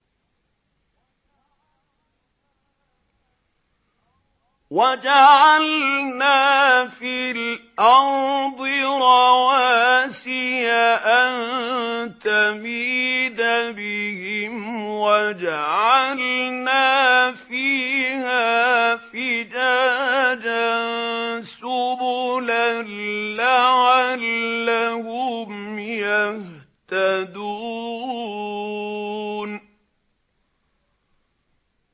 وَجَعَلْنَا فِي الْأَرْضِ رَوَاسِيَ أَن تَمِيدَ بِهِمْ وَجَعَلْنَا فِيهَا فِجَاجًا سُبُلًا لَّعَلَّهُمْ يَهْتَدُونَ